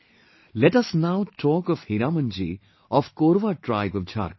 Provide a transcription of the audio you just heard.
Let us now talk of Hiramanji of Korwa tribe of Jharkhand